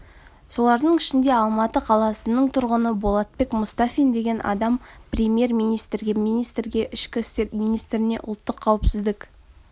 солардың ішінде алматы қаласының тұрғыны болатбек мұстафин деген адам премьер-министрге министрге ішкі істер министріне ұлттық қауіпсіздік